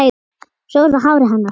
Svo var það hárið hennar.